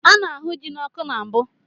A na-ahu ji n'ọkụ na mbụ.